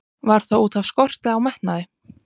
Var það útaf skorti á metnaði?